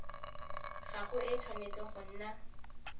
gago e tshwanetse go nna